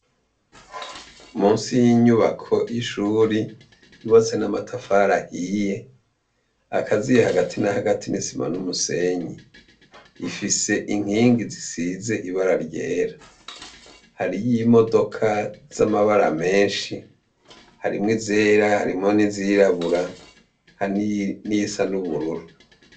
Munsi y'inyubako y'ishuri, hubatse n'amatafari ahiye, akaziye hagati na hagati n'isima n'umusenyi. Ifise inkingi zisize ibara ryera. Hariyo imodoka z'amabara menshi, harimwo izera harimwo n'izirabura, hari n'iyisa n'ubururu.